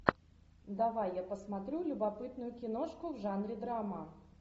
давай я посмотрю любопытную киношку в жанре драма